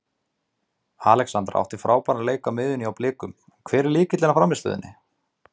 Alexandra átti frábæra leiki á miðjunni hjá Blikum en hver er lykillinn að frammistöðunni?